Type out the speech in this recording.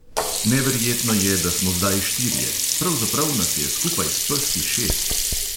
Neverjetno je, da smo zdaj štirje; pravzaprav nas je skupaj s peski šest.